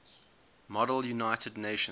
model united nations